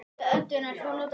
Hvað get ég tekið með?